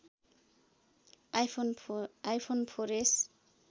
iPhone four S